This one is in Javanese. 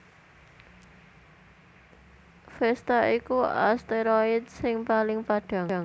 Vesta iku asteroid sing paling padhang